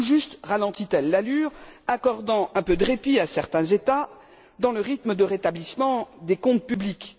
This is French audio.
Tout juste ralentit elle l'allure, accordant un peu de répit à certains États, dans le rythme de rétablissement des comptes publics.